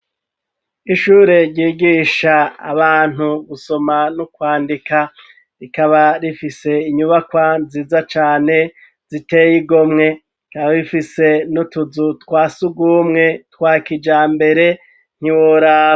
ishure ryigisha abantu gusoma no kwandika, rikaba rifise inyubakwa nziza cane ziteye igomwe, zikaba zifise n'utuzu twasugumwe twakijambere ntiworaba.